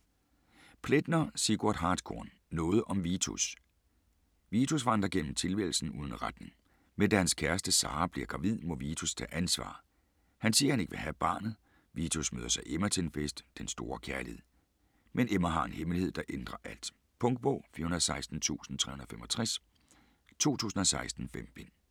Plaetner, Sigurd Hartkorn: Noget om Vitus Vitus vandrer gennem tilværelsen uden retning. Men da hans kæreste Sara bliver gravid, må Vitus tage ansvar - han siger han ikke vil have barnet. Vitus møder så Emma, til en fest. Den store kærlighed. Men Emma har en hemmelighed, der ændrer alt. Punktbog 416365 2016. 5 bind.